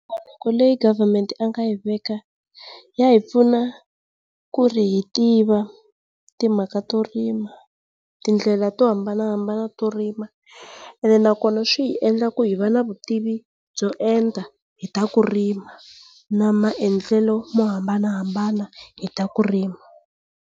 leyi government a nga yi veka ya hi pfuna ku ri hi tiva timhaka to rima, tindlela to hambanahambana to rima, ene na kona swi hi endla ku ri hi va na vutimi byo enta hi ta ku rima na maendlelo mo hambanahambana hi ta ku rima.